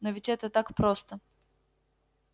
но ведь это так просто